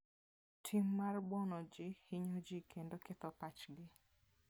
Tim mar buono ji hinyo ji kendo ketho pachgi.